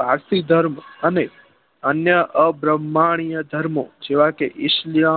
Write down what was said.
પારસી ધર્મ અને અન્ય અ ભ્ર્માંનીય ધર્મો જેવા કે ઇસ્નીય